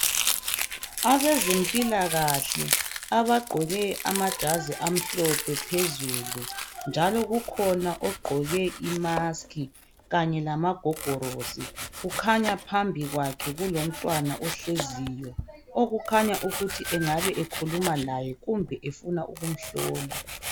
Abezempilakahle abagqoke amajazi amhlophe phezulu, njalo kukhona ogqoke imusk kanye lamagogorosi. Kukhanya phambi kwakhe kulomuntu ohleziyo okukhanya ukuthi engabe ekhuluma laye kumbe efuna ukumhlola.